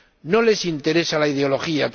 No les interesa la ideología.